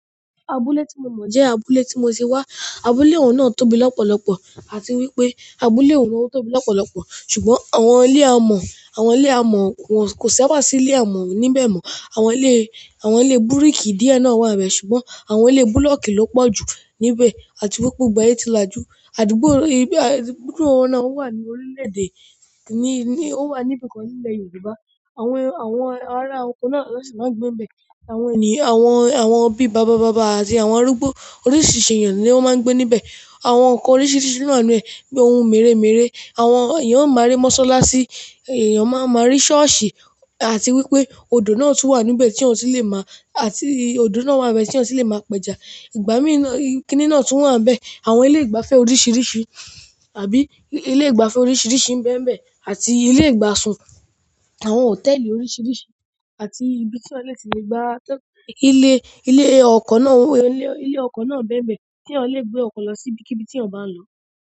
Abúlé ti mo mo, je abúlé ti mo ti wa, abúlé ohun na tóbi lopolopo àti wípé abúlé òhun náà tóbi lọ́pọ̀lọpọ̀ ṣùgbọ́n àwọn ilé amọ̀, àwọn ilé amọ̀ wọ́n kò sa ba sí ilé amọ̀ níbẹ̀ mọ́. Àwọn ilé, àwọn ilé bíríkì díẹ̀ náà wà níbẹ̀ ṣùgbọ́n àwọn ilé búlọ̀kì ló pọ̀ jù níbẹ̀. Àti wípé gbogbo e ti làjú. Àdúgbò ìbí, àdúgbò òhun náà wà ní orílẹ̀ èdè, ní, ní, ó wà níbi kan ní ilẹ̀ Yorùbá. Àwọn, àwọn ará ọkọ náà ló sì máa ń gbé níbẹ̀. Àwọn ènìyàn, àwọn, àwọn bí i bàbá bàbá àti àwọn arúgbó oríṣiríṣi èèyàn ni wọ́n máa ń gbé níbẹ̀. Àwọn nǹkan oríṣiríṣi no ni, bíi ohun mèremère, àwọn èèyàn máa rí mọ́ṣáláṣí, èèyàn máa, máa rí ṣọ́ọ̀ṣì, àti wípé odò náà tún wà níbẹ̀ tí eeyan tun lè máa-- àti odò náà wà n be tí eeyan tun lè máa p'ẹ́ja. Ìgbámí na, kini náà tún wà níbẹ̀. Àwọn ilé ìgbafẹ́ oríṣiríṣi àbí ilé ìgbafẹ́ oríṣiríṣi ń bẹ́ n bẹ̀, àti ilé ìgbà sùn, àwọn hòtẹ́ẹ̀lì oríṣiríṣi, àti ibi tí eeyan lè ti lè gba tọ-- ilé, ilé ọkọ̀ náà ń, ilé ọkọ̀ náà ń bẹ́ n bẹ̀ tí ẹeyan lè gbé ọkọ̀ lọ sí ibikíbi tí ẹ̀eyan ń bá ń lọ.